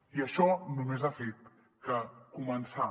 i això només ha fet que començar